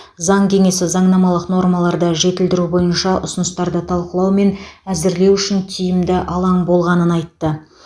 заң кеңесі заңнамалық нормаларды жетілдіру бойынша ұсыныстарды талқылау мен әзірлеу үшін тиімді алаң болғанын айтты